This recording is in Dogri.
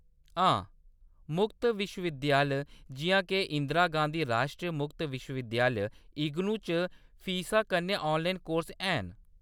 हां, मुक्त विश्व विद्यालय, जिʼयां के इंदिरा गांधी राश्ट्री मुक्त विश्व-विद्यालय, इग्नू च फीसा कन्नै ऑनलाइन कोर्स हैन।